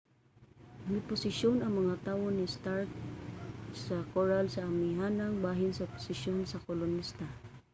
miposisyon ang mga tawo ni stark sa koral sa amihanang bahin sa posisyon sa kolonista